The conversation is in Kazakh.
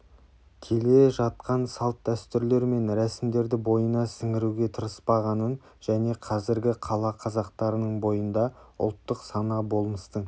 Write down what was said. келе жатқан салт-дәстүрлер мен рәсімдерді бойына сіңіруге тырыспағанын және қазіргі қала қазақтарының бойында ұлттық сана-болмыстың